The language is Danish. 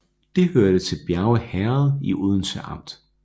Det hørte til Bjerge Herred i Odense Amt